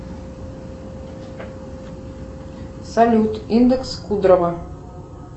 салют индекс кудрова